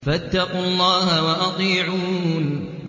فَاتَّقُوا اللَّهَ وَأَطِيعُونِ